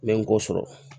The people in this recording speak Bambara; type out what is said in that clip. N bɛ n kɔ sɔrɔ